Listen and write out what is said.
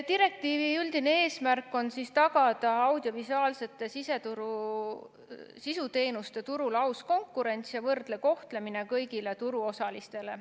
Direktiivi üldine eesmärk on tagada audiovisuaalsete sisuteenuste turul aus konkurents ja võrdne kohtlemine kõigile turuosalistele.